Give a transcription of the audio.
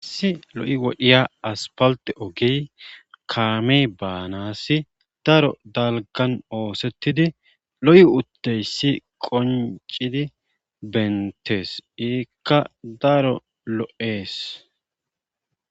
Issi lo7i wodhiya aspalte ogey kaame baanassi daro dalgan oosettidi lo7i utteyssi qoncidi bentees iikka daro lo7ees